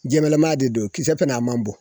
Jɛmanlama de don, kisɛ fɛnɛ, a man bɔn.